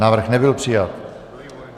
Návrh nebyl přijat.